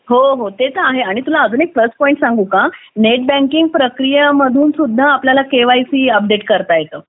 हो हो ते तर आहे आणि तुला अजून एक प्लस पॉईंट सांगू का नेट बँकिंग प्रक्रियेमधून सुद्धा केवायसी अपडेट करता येतं